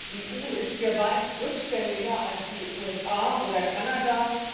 Die EU ist hier weit rückständiger als die USA oder Kanada.